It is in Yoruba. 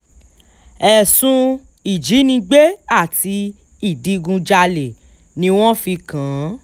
ẹ̀sùn ìjínigbé àti ìdígunjalè ni wọ́n fi kàn án